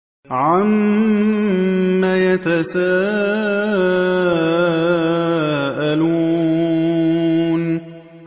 عَمَّ يَتَسَاءَلُونَ